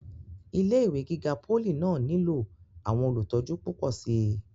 ilé ìwé gíga pólì náà nílò àwọn olùtọ́jú púpọ̀ síi